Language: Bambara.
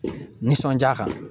Nisɔndiya kan